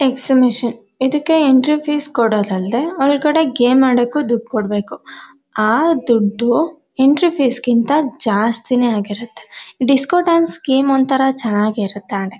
Exhibition ಇದಕ್ಕೆ entry fees ಕೊಡೋದಲ್ಲದೆ ಒಳಗಡೆ ಗೇಮ್ ಆಡೋಕು ದುಡ್ಡು ಕೊಡ್ಬೇಕು ಆ ದುಡ್ಡು ಎಂಟ್ರಿ ಫೀಸ್ ಗಿಂತ ಜಾಸ್ತಿನೇ ಆಗಿರುತ್ತೆ ಡಿಸ್ಕೋ ಡಾನ್ಸ್ ಗೇಮ್ ಒಂತರ ಚೆನ್ನಾಗಿರುತ್ತೆ ಆಡಕ್ಕೆ.